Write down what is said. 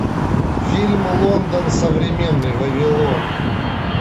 фильм лондон современный вавилон